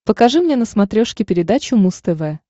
покажи мне на смотрешке передачу муз тв